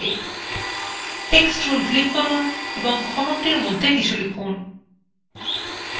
text tool click করুন এবং ঘনকটির মধ্যে কিছু লিখুন